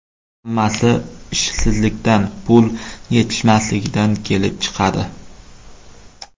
Hammasi ishsizlikdan, pul yetishmasligidan kelib chiqadi.